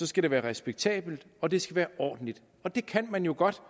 skal det være respektabelt og det skal være ordentligt og det kan jo godt